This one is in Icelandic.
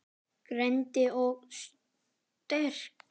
Greind og sterk.